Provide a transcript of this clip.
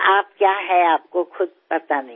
આપ શું છો તે આપને પોતાને પણ ખબર નથી